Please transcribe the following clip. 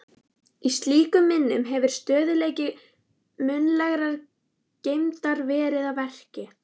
Í slíkum minnum hefur stöðugleiki munnlegrar geymdar verið að verki.